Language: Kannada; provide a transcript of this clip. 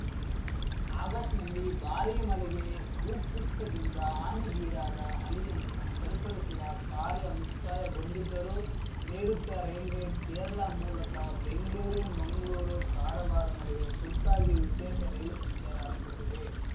ಆಗಸ್ಟ್‌ನಲ್ಲಿ ಭಾರಿ ಮಲೆಗೆ ಭೂಕುಸಿತದಿಂದ ಹಾನಿಗೀಡಾದ ಹಲಿಯನ್ನು ಸರಿಪಡಿಸುವ ಕಾರ್ಯ ಮುಕ್ತಾಯಗೊಂಡಿದ್ದರೂ ನೈಋುತ್ಯ ರೈಲ್ವೆ ಕೇರಳ ಮೂಲಕ ಬೆಂಗ್ಲೂರು ಮಂಗ್ಲೂರು ಕಾರವಾರ ನಡುವೆ ತುರ್ತಾಗಿ ವಿಶೇಷ ರೈಲು ಸಂಚಾರ ಆರಂಭಿಸಿದೆ